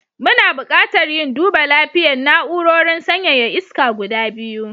Muna buƙatar yin duba lapiyan na'urorin sanyaya iska guda biyu.